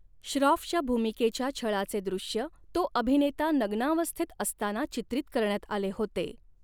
श्राॅफच्या भूमिकेच्या छळाचे दृश्य तो अभिनेता नग्नावस्थेत असताना चित्रीत करण्यात आले होते.